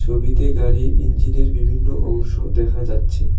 ছবিতে গাড়ির ইঞ্জিনের বিভিন্ন অংশ দেখা যাচ্ছে।